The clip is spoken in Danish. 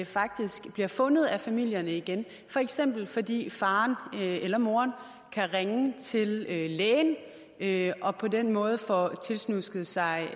faktisk bliver fundet af familierne igen for eksempel fordi faren eller moren kan ringe til lægen lægen og på den måde få tiltusket sig